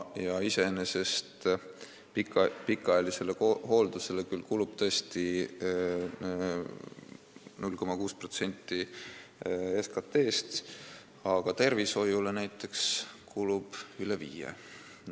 Ja pikaajalisele hooldusele kulub küll tõesti 0,6% SKT-st, aga tervishoiule näiteks kulub üle 5%.